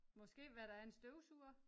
Måske hvad der er en støvsuger